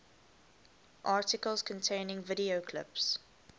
articles containing video clips